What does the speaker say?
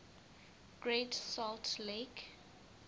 great salt lake